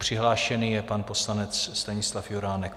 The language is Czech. Přihlášený je pan poslanec Stanislav Juránek.